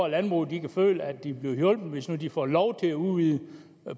landbruget kan føle at de bliver hjulpet hvis nu de får lov til at udvide